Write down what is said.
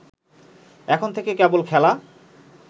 এখন থেকে কেবল খেলা